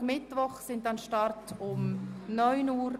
Dienstag und Mittwoch starten wir um 09.00 Uhr.